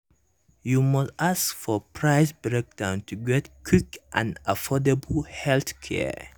you must ask for price breakdown to get quick and affordable healthcare.